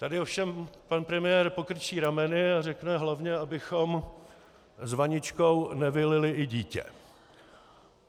Tady ovšem pan premiér pokrčí rameny a řekne: Hlavně abychom s vaničkou nevylili i dítě.